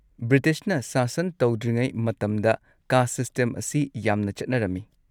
ꯕ꯭ꯔꯤꯇꯤꯁꯅ ꯁꯥꯁꯟ ꯇꯧꯗ꯭ꯔꯤꯉꯩ ꯃꯇꯝꯗ, ꯀꯥꯁꯠ ꯁꯤꯁꯇꯦꯝ ꯑꯁꯤ ꯌꯥꯝꯅ ꯆꯠꯅꯔꯝꯃꯤ꯫